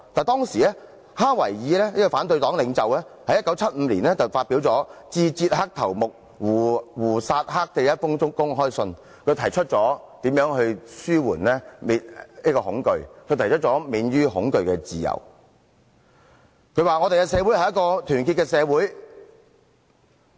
但是，當時反對黨領袖哈維爾在1975年發表《致捷克頭目胡薩克的一封公開信》，信中提出如何紓緩恐懼，如何獲得免於恐懼的自由，他說："我們的社會是一個團結的社會嗎？